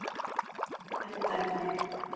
Ekki dæma mig.